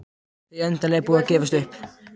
Þau endanlega búin að gefast upp.